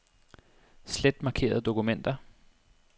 Slet markerede dokumenter.